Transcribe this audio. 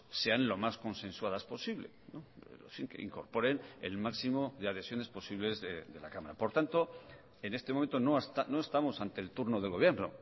sean lo más consensuadas posible incorporen el máximo de adhesiones posibles de la cámara por tanto en este momento no estamos ante el turno del gobierno